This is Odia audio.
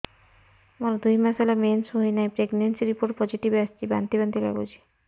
ମୋର ଦୁଇ ମାସ ହେଲା ମେନ୍ସେସ ହୋଇନାହିଁ ପ୍ରେଗନେନସି ରିପୋର୍ଟ ପୋସିଟିଭ ଆସିଛି ବାନ୍ତି ବାନ୍ତି ଲଗୁଛି